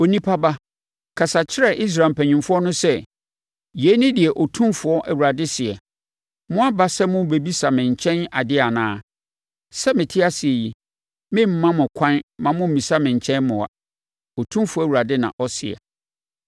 “Onipa ba, kasa kyerɛ Israel mpanimfoɔ no sɛ: ‘Yei ne deɛ Otumfoɔ Awurade seɛ: Moaba sɛ morebɛbisa me nkyɛn adeɛ anaa? Sɛ mete ase yi, meremma mo ɛkwan mma mommisa me nkyɛn mmoa, Otumfoɔ Awurade na ɔseɛ.’